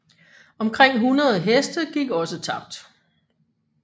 Omkring 100 heste gik også tabt